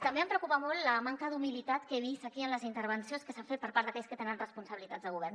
també em preocupa molt la manca d’humilitat que he vist aquí en les intervencions que s’han fet per part d’aquells que tenen responsabilitats de govern